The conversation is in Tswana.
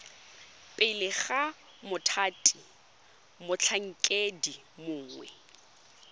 pele ga mothati motlhankedi mongwe